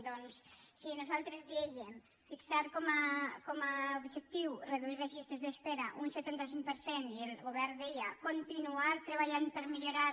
doncs si nosaltres dèiem fixar com a objectiu reduir les llistes d’espera un setanta cinc per cent i el govern deia continuar treballant per millorar